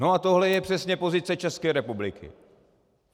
No a tohle je přesně pozice České republiky.